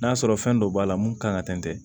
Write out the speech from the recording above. N'a sɔrɔ fɛn dɔ b'a la mun kan ka tɛntɛ